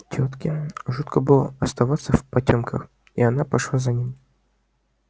тётке жутко было оставаться в потёмках и она пошла за ним